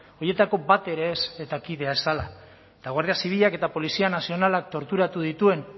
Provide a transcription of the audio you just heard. horietako bat ere ez eta kidea zela eta guardia zibilak eta polizia nazionalak torturatu dituen